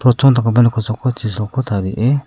dakgipa nok kosako chisolko tarie--